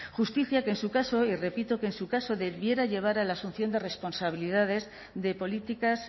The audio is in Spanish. justicia que en su caso y repito que en su caso debiera llevar a la asunción de responsabilidades de políticas